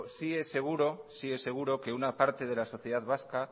sí es seguro que una parte de la sociedad vasca